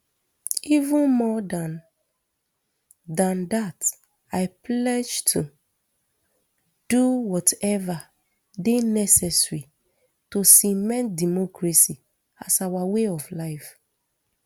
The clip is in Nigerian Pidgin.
even more dan dan dat i pledge to do whatever dey necessary to cement democracy as our way of life